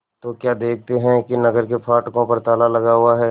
तो क्या देखते हैं कि नगर के फाटकों पर ताला लगा हुआ है